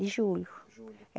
De julho. Julho.